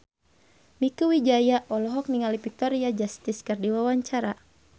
Mieke Wijaya olohok ningali Victoria Justice keur diwawancara